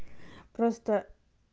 просто